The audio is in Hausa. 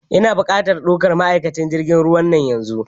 Ina buƙatan dukan ma'aikatan jirgin ruwa nan yanzu!